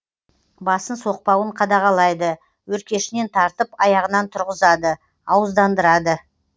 басын соқпауын қадағалайды өркешінен тартып аяғынан тұрғызады ауыздандырады